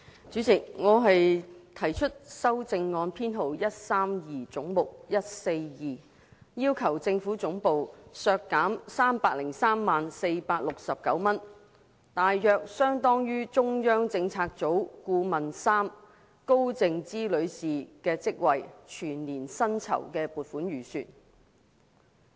主席，我提出的修正案編號為 132， 關乎總目 142， 要求政府總部削減 3,030,469 元，大約相當於中央政策組顧問3高靜芝女士的職位的全年薪酬預算開支。